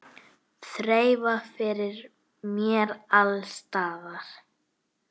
Þreifað fyrir mér alls staðar.